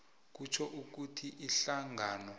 kutjho ukuthi ihlangano